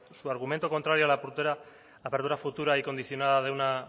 su argumento contrario a la apertura futura y condicionada de una